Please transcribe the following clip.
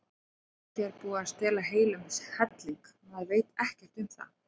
Kannski er búið að stela heilum helling, maður veit ekkert um það.